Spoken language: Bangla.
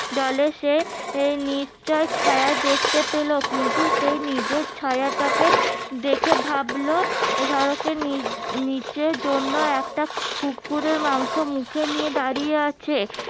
জলে সে এর নিশ্চই ছায়া দেখতে পেলো কিন্তু সে নিজের ছায়াটাকে দেখে ভাবলো সড়কের নিচে জন্য একটা কুকুরের মাংস মুখে নিয়ে দাঁড়িয়ে আছে